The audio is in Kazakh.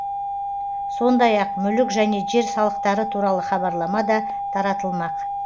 сондай ақ мүлік және жер салықтары туралы хабарлама да таратылмақ